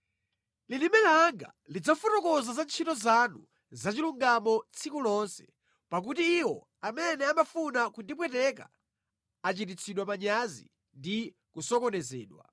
Lilime langa lidzafotokoza za ntchito zanu zachilungamo tsiku lonse, pakuti iwo amene amafuna kundipweteka achititsidwa manyazi ndi kusokonezedwa.